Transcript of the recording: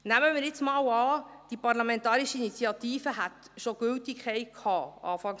Nehmen wir jetzt mal an, die Parlamentarische Initiative hätte Anfang dieses Jahres schon Gültigkeit gehabt: